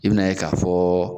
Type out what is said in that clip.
I bɛna ye k'a fɔ